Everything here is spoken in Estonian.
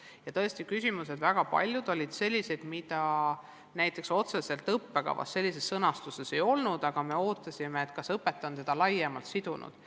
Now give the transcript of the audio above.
Ja tõesti, väga paljud küsimused olid sellised, mida otseselt õppekavas sellises sõnastuses ei olnud, aga me soovisime teada, kas õpetaja on õppeteemasid laiemalt sidunud.